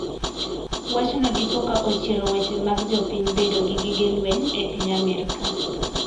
Wachno dipoka ochiero weche mag jopiny bedo gi gige lweny e piny Amerka.